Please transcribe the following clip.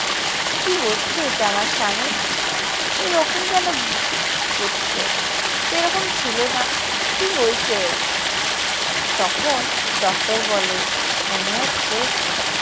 কি হচ্ছে এটা আমার স্বামীর? এরকম কেন করছে? এরকম ছিল না। কি হয়েছে এর? তখন ডক্টর বলে, মনে হচ্ছে